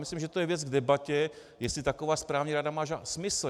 Myslím, že to je věc k debatě, jestli taková správní rada má smysl.